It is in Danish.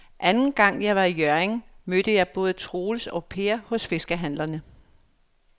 Anden gang jeg var i Hjørring, mødte jeg både Troels og Per hos fiskehandlerne.